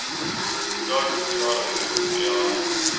I dag förklarar vi hur du ska göra.